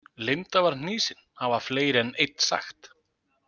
Linda var hnýsin, hafa fleiri en einn sagt.